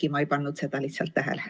Äkki ma ei pannud lihtsalt tähele.